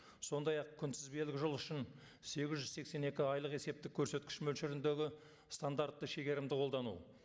сондай ақ күнтізбелік жыл үшін сегіз жүз сексен екі айлық есептік көрсеткіш мөлшеріндегі стандартты шегерімді қолдану